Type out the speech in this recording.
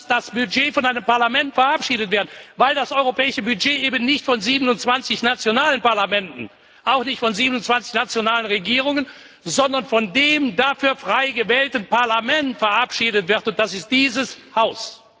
Dann muss das Budget von einem Parlament verabschiedet werden, weil das europäische Budget eben nicht von 27 nationalen Parlamenten, auch nicht von 27 nationalen Regierungen, sondern von dem dafür frei gewählten Parlament verabschiedet wird, und das ist dieses Haus.